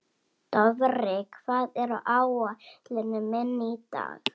Dofri, hvað er á áætluninni minni í dag?